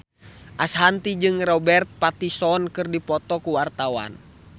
Ashanti jeung Robert Pattinson keur dipoto ku wartawan